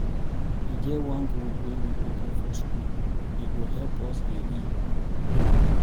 E get one group wey we open for school,e go help us dey read.